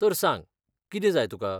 तर सांग, कितें जाय तुकां ?